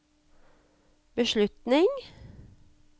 beslutning